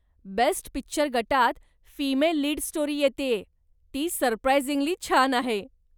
Best picture गटात female lead story येतेय, ती सरप्रायजिंगली छान आहे.